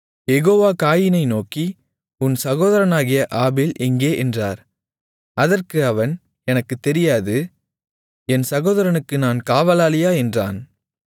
யெகோவா காயீனை நோக்கி உன் சகோதரனாகிய ஆபேல் எங்கே என்றார் அதற்கு அவன் எனக்குத் தெரியாது என் சகோதரனுக்கு நான் காவலாளியா என்றான்